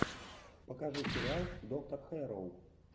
покажи сериал доктор хэрроу